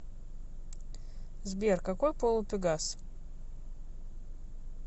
сбер какой пол у пегас